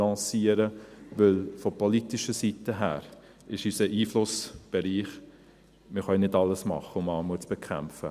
Denn von politischer Seite her ist unser Einflussbereich … Wir können nicht alles tun, um Armut zu bekämpfen.